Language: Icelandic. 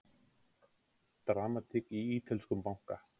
Dramatík í ítölskum banka